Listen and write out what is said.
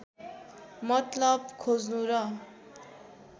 मतलब खोज्नु र